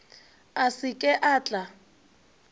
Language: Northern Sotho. a se ke a tla